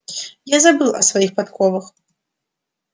я забыл о своих подковах